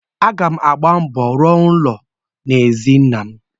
Aga m agba mbọ rụọ ụlọ aja n'ezi nnam.